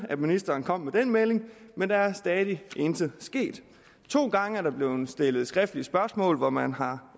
ministeren kom med den melding men der er stadig intet sket to gange er der blevet stillet skriftlige spørgsmål hvor man har